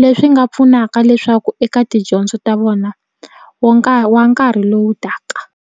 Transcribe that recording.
leswi nga pfunaka leswaku eka tidyondzo ta vona wo wa nkarhi lowu taka.